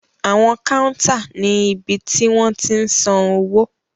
Awọn kàuntá ni ibi ti wọn tiń san owo.